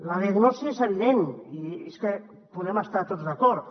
la diagnosi és evident i és que hi podem estar tots d’acord